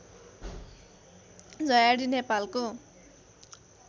झयाडी नेपालको